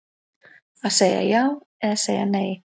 Að segja já eða segja nei